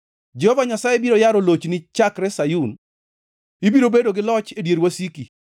Jehova Nyasaye biro yaro lochni chakre Sayun; ibiro bedo gi loch e dier wasiki.